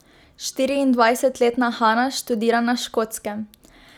Štiriindvajsetletna Hana študira na Škotskem.